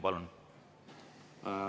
Palun!